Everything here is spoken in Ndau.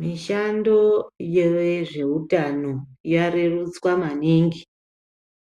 Mishando yezveutano yarerutswa maningi